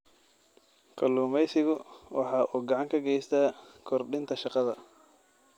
Kalluumaysigu waxa uu gacan ka geystaa kordhinta shaqada.